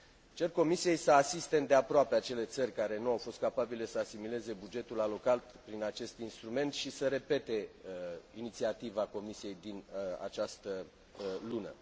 Cer Comisiei să asiste îndeaproape acele țări care nu au fost capabile să asimileze bugetul alocat prin acest instrument și să repete inițiativa Comisiei din această lună.